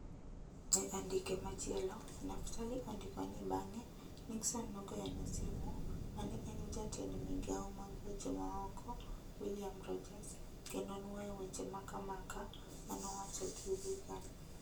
E andike machielo, Naftali ondiko ni bang'e Nixon nogoyo ne simu mane en jatend migao mag weche ma oko William Rogers kendo nuoyo weche maka maka manowacho gi Reagan.